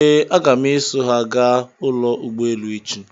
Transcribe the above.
Ee, aga m eso ha gaa ụlọ ụgbọelu echi?